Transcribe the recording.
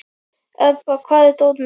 Ebba, hvar er dótið mitt?